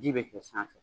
Ji bɛ kɛ sanfɛ